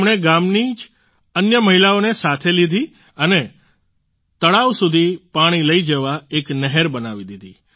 તેમણે ગામની જ અન્ય મહિલાઓને સાથે લીધી અને તળાવ સુધી પાણી લઈ જવા એક નહેર બનાવી દીધી